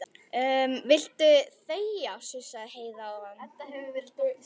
Viltu þegja, sussaði Heiða á hana.